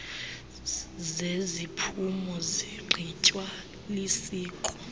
zeziphumo zigqitywa lisiko